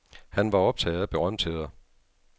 Han var optaget af berømtheder.